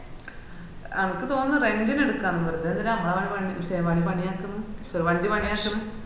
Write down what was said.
എനക്ക് തോന്നുന്ന് rent ന് എടുക്കാന്ന് വെർതെ എന്തിനാ അമ്മളെ വൻ പണി ശേ വൻ പണി ആക്കുന്നു sorry വണ്ടി പണിയാക്കുന്നു